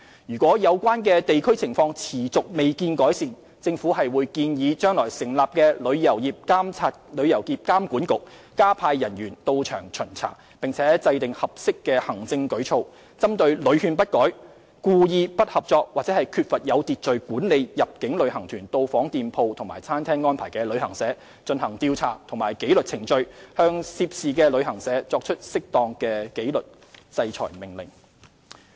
如果有關地區情況持續未見改善，政府會建議將來成立的"旅遊業監管局"加派人員到場巡查，並且制訂合適行政舉措，針對屢勸不改、故意不合作或缺乏有秩序地管理入境旅行團到訪店鋪及餐廳的安排的旅行社，進行調查及紀律程序，向涉事旅行社作出適當的紀律制裁命令。